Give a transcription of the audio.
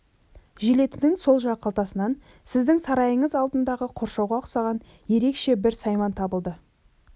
желетінің сол жақ қалтасынан сіздің сарайыңыз алдындағы қоршауға ұқсаған ерекше бір сайман табылды